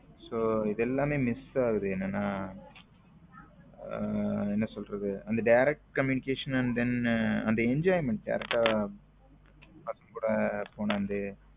So இது எல்லாம் miss ஆகுது என்னன்னா என்ன சொல்றது அந் direct communication and then enjoyment direct ஆ .